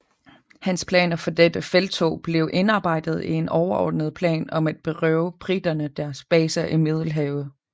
Hans planer for dette felttog blev indarbejdet i en overordnet plan om at berøve briterne deres baser i Middelhavet